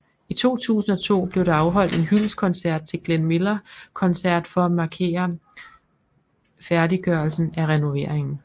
I 2002 blev der afholdt en hyldestkoncert til Glenn Miller concert for at mærkere færdigørelsen af renoveringen